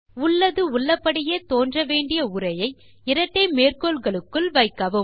உள்ளது உள்ளபடியே தோன்ற வேண்டிய உரையை இரட்டை மேற்கோள்களுள் வைக்கவும்